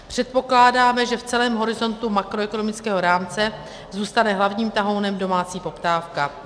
Předpokládáme, že v celém horizontu makroekonomického rámce zůstane hlavním tahounem domácí poptávka.